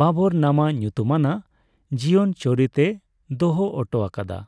'ᱵᱟᱵᱚᱨᱱᱟᱢᱟ' ᱧᱩᱛᱩᱢ ᱟᱱᱟᱜ ᱡᱤᱭᱚᱱᱪᱚᱨᱤᱛᱮ ᱫᱚᱦᱚ ᱦᱚᱴᱚ ᱟᱠᱟᱫᱟ ᱾